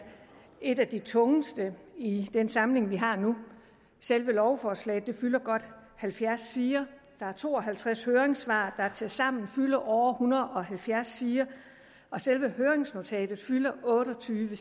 et af de tungeste i den samling vi har nu selve lovforslaget fylder godt halvfjerds sider der er to og halvtreds høringssvar der tilsammen fylder over en hundrede og halvfjerds sider selve høringsnotatet fylder otte og tyve